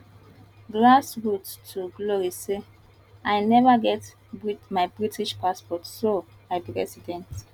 grassroots to glory say i neva get my british passport so i be resident